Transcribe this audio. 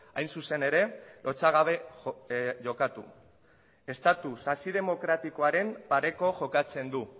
hain zuzen ere lotsagabe jokatu estatu sasi demokratikoaren pareko jokatzen du